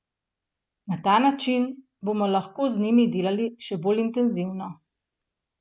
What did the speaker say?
Na ta način bomo lahko z njimi delali še bolj intenzivno.